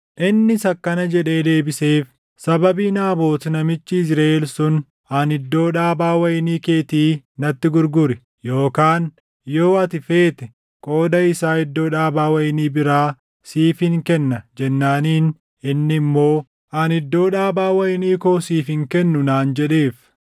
Innis akkana jedhee deebiseef; “Sababii Naabot namichi Yizriʼeel sun, ani, ‘Iddoo dhaabaa wayinii keetii natti gurguri, yookaan yoo ati feete qooda isaa iddoo dhaabaa wayinii biraa siifin kenna’ jennaaniin inni immoo, ‘Ani iddoo dhaabaa wayinii koo siif hin kennu’ naan jedheef.”